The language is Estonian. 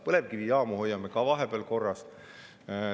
Põlevkivijaamu hoiame ka vahepeal korras.